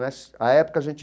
A época, a gente...